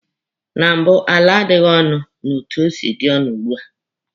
Na mbụ, ala adịghị onu etu o si dị ọnụ ugbua.